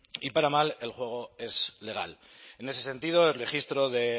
y para mal el juego es legal en ese sentido el registro de